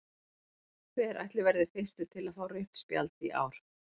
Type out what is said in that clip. Hver ætli verði fyrstur til að fá rautt spjald í ár?